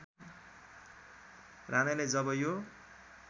राणाले जब यो